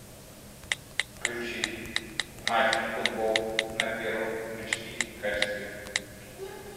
включить матч футбол на первом в эйч ди качестве